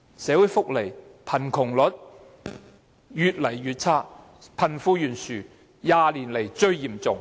社會福利越來越差，貧富懸殊是20年來最嚴重。